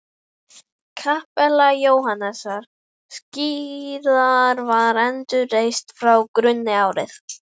Kapella Jóhannesar skírara var endurreist frá grunni árið